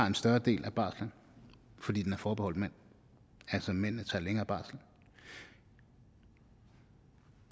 en større del af barslen fordi den er forbeholdt manden altså mændene tager længere barsel og